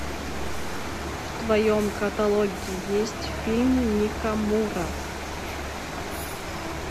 в твоем каталоге есть фильм ника мура